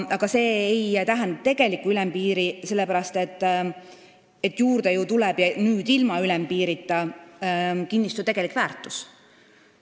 Aga see ei tähenda tegelikku ülempiiri, sest juurde tuleb – ja ilma ülempiirita – kinnistu tegelik väärtus.